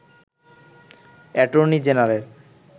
attorney general